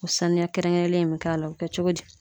O sanuya kɛrɛnkɛrɛnnen bɛ k'a la o bɛ kɛ cogo di